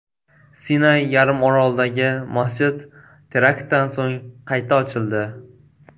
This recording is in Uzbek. Sinay yarim orolidagi masjid teraktdan so‘ng qayta ochildi.